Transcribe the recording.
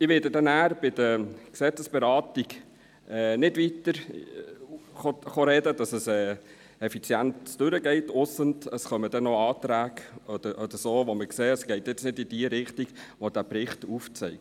Ich werde nachher bei der Gesetzesberatung nicht weiter reden kommen, damit es effizient durchgeht – ausser, es sollten noch Anträge oder so kommen, bei denen wir sehen, dass es nicht in die Richtung geht, die der Bericht aufzeigt.